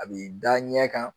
A b'i da ɲɛ kan